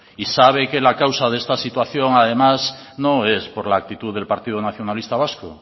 y sabe que la causa de esta situación además no es por la actitud del partido nacionalista vasco